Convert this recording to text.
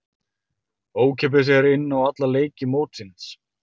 Ókeypis er inn á alla leiki mótsins.